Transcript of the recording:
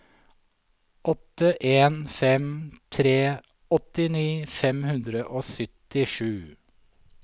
åtte en fem tre åttini fem hundre og syttisju